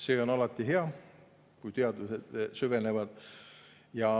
See on alati hea, kui teadlased süvenevad.